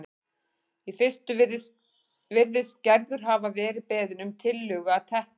Í fyrstu virðist Gerður hafa verið beðin um tillögu að teppi